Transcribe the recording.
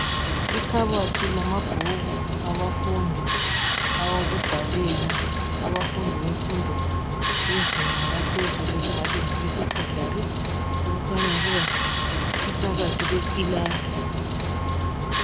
Ikhabothi lamabhuku abafundi awokubhalela. Abafundi bemfundo yezinga laphezulu esingathi ngabesecondary okukhanya ukuba iphakathi kwekilasi.